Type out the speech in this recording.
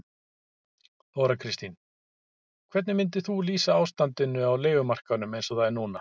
Þóra Kristín: Hvernig myndir þú lýsa ástandinu á leigumarkaðnum eins og það er núna?